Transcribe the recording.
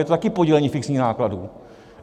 Je to také podílení fixních nákladů.